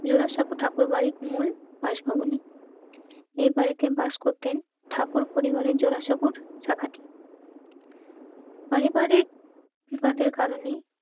জোড়াসাঁকো ঠাকুরবাড়ির মূল বাসভবনে. এই বাড়িতে বাস করতেন ঠাকুর পরিবারের জোড়াসাঁকোর শাখাটি. পারিবারিক বিবাদের কারণে এই শাখাটির মূল পরিবার